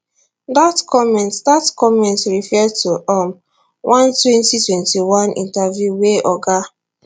dat comments dat comments refer to um one twenty twenty one interview wey oga